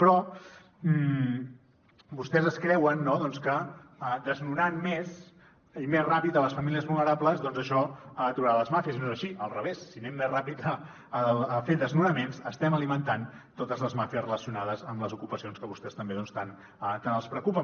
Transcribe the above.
però vostès es creuen no doncs que desnonant més i més ràpid les famílies vulnerables doncs això aturarà les màfies i no és així al revés si anem més ràpid a fer desnonaments estem alimentant totes les màfies relacionades amb les ocupacions que vostès també doncs tant els preocupen